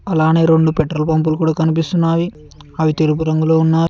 అలానే రెండు పెట్రోల్ పంపులు కూడా కనిపిస్తున్నావి అవి తెలుపు రంగులో ఉన్నా --